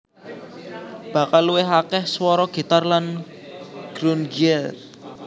Bakal luwih akeh swara gitar lan grungier